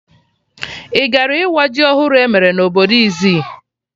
Ị gara ịwa ji ọhụrụ emere na obodo Izzi?